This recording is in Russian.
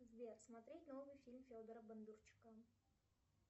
сбер смотреть новый фильм федора бондарчука